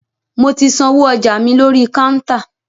Mo ti sanwó ọjà mi lórí kántà.